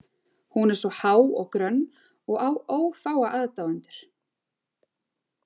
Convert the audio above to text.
Hún er svo há og grönn og á ófáa aðdáendur.